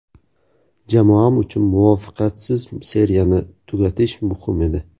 Jamoam uchun muvaffaqiyatsiz seriyani tugatish muhim edi.